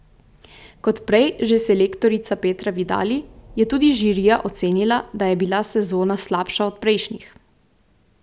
Kot prej že selektorica Petra Vidali je tudi žirija ocenila, da je bila sezona slabša od prejšnjih.